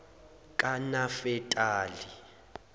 kanafetali